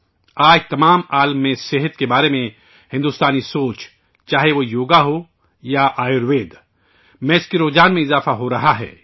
آج پوری دنیا میں صحت سے متعلق بھارت کے موقف پر چاہے وہ یوگا ہو یا آیوروید ، اس کے تئیں رجحان بڑھتا جا رہا ہے